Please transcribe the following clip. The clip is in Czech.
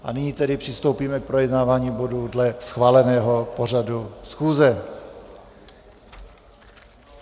A nyní tedy přistoupíme k projednávání bodů dle schváleného pořadu schůze.